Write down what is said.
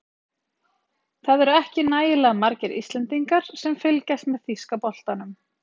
Það eru ekki nægilega margir Íslendingar sem fylgjast með þýska boltanum.